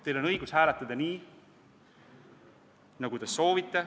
Teil on õigus hääletada nii, nagu te soovite.